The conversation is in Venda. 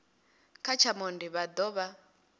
kha tsha monde vha dovha